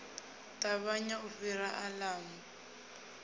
ṱavhanya u fhira a ḓamu